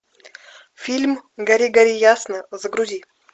фильм гори гори ясно загрузи